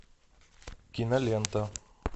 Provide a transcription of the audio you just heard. кинолента